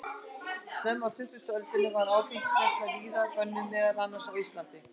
Snemma á tuttugustu öldinni var áfengisneysla víða bönnuð, meðal annars á Íslandi.